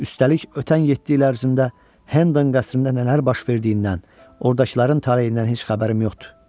Üstəlik, ötən yeddi il ərzində Hendon qəsrində nələr baş verdiyindən, ordakıların taleyindən heç xəbərim yoxdur.